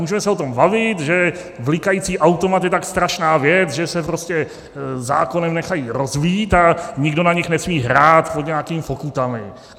Můžeme se o tom bavit, že blikající automat je tak strašná věc, že se prostě zákonem nechají rozbít a nikdo na nich nesmí hrát pod nějakými pokutami.